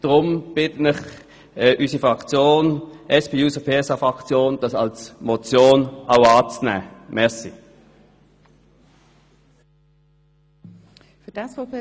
Darum bitten ich und die SP-JUSO-PSA-Fraktion den Vorstoss als Motion anzunehmen.